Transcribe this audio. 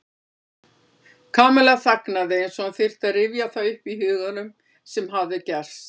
Kamilla þagnaði eins og hún þyrfti að rifja það upp í huganum sem hafði gerst.